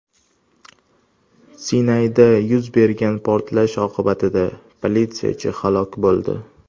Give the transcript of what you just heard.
Sinayda yuz bergan portlash oqibatida politsiyachi halok bo‘ldi.